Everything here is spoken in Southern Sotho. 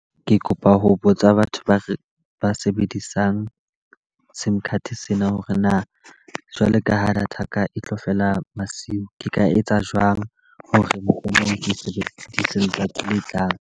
Ke kopa ho botsa batho ba ba sebedisang sim card sena hore na jwalo ka ha data ya ka e tlo fela masiu. Ke ka etsa jwang hore mohlomong ke sebedise letsatsi le tlang?